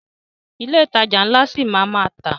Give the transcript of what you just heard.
Ilé ìtajà ńlá ṣi máa a má tà.